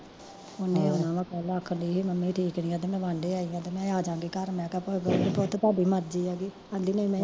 ਉਹਨੇ ਆਉਣਾ ਵਾ ਕੱਲ ਆਖਣ ਡਈ ਸੀ ਮੰਮੀ ਠੀਕ ਨੀ ਆ ਤੇ ਮੈਂ ਬਾਂਡੇ ਆਈ ਆ ਤੇ ਮੈਂ ਅਜਾਗੀ ਘਰ ਤੇ ਮੈਂ ਕਿਹਾ ਪੁੱਤ ਤੁਹਾਡੀ ਮਰਜ਼ੀ ਐਗੀ, ਕਹਿੰਦੀ ਨਹੀਂ